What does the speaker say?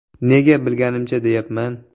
Nega “bilganimcha” deyapman?